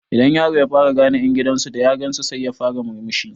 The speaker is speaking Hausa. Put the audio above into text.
Idan yaro ya fara gane ƴan gidan su da ya gansu sai ya fara murmushi